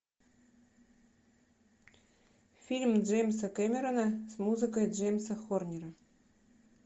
фильм джеймса кэмерона с музыкой джеймса хорнера